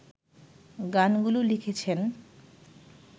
গানগুলো লিখেছেন